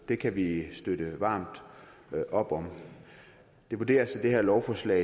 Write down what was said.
det kan vi støtte varmt op om det vurderes at det her lovforslag